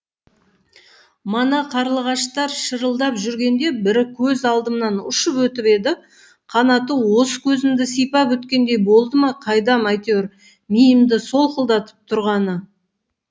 мана қарлығаштар шырылдап жүргенде бірі көз алдымнан ұшып өтіп еді қанаты осы көзімді сипап өткендей болды ма қайдам әйтеуір миымды солқылдатып тұрғаны